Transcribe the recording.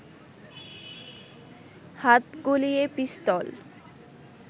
হাত গলিয়ে পিস্তল